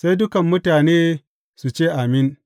Sai dukan mutane su ce, Amin!